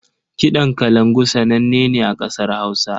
Kiɗan kalangu sananne ne a ƙasar Hausa.